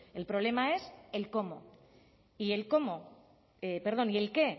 el problema es el cómo y el qué